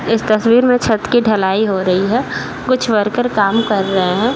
इस तस्वीर में छत की ढलाई हो रही है। कुछ वर्कर काम कर रहे हैं।